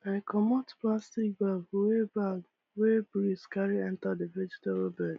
i comot plastic bag wey bag wey breeze carry enter the vegetable bed